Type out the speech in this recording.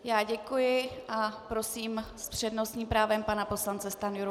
Já děkuji a prosím s přednostním právem pana poslance Stanjuru.